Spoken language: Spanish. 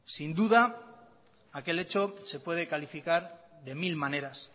sin duda aquel hecho se puede calificar de mil maneras